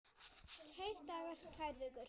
Tveir dagar, tvær vikur?